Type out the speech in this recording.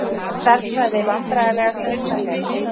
Stærðfræði Vandræðalegasta augnablik?